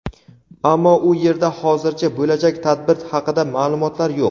ammo u yerda hozircha bo‘lajak tadbir haqida ma’lumotlar yo‘q.